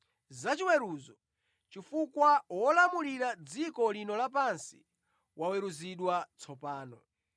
Za chiweruzo, chifukwa wolamulira dziko lino lapansi waweruzidwa tsopano.